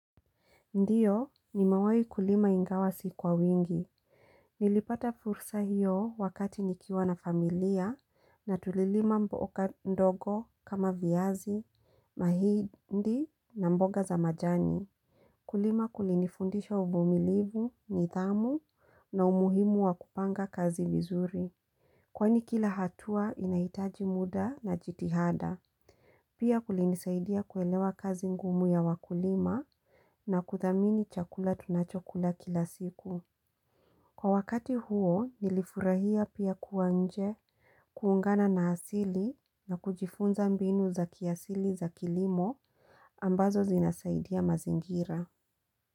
Ndiyo nimewai kulima ingawa si kwa wingi. Nilipata fursa hiyo wakati nikiwa na familia na tulilima mboga ndogo kama viazi, mahindi na mboga za majani. Kulima kulinifundisha uvumilivu, nidhamu na umuhimu wa kupanga kazi vizuri. Kwani kila hatua inaitaji muda na jitihada. Pia kulinisaidia kuelewa kazi ngumu ya wakulima na kuthamini chakula tunachokula kila siku. Kwa wakati huo nilifurahia pia kuwa nje kuungana na asili na kujifunza mbinu za kiasili za kilimo ambazo zinasaidia mazingira.